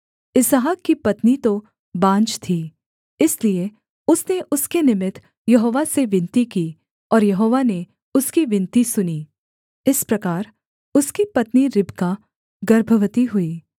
इसहाक की पत्नी तो बाँझ थी इसलिए उसने उसके निमित्त यहोवा से विनती की और यहोवा ने उसकी विनती सुनी इस प्रकार उसकी पत्नी रिबका गर्भवती हुई